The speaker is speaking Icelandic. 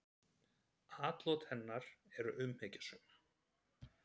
Atlot hennar eru umhyggjusöm.